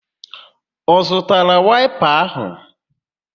Ọ zụtara waịpa áhụ̀?